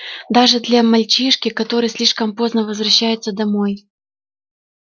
даже для мальчишки который слишком поздно возвращается домой